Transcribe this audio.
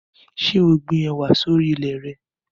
Ṣé o gbin ẹwà sì orí ilẹ̀ re?